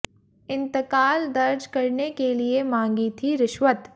इंतकाल दर्ज करने के लिए मांगी थी रिश्वत